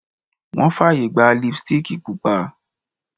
Wọn fàyè gba Lipstíìkì Pupa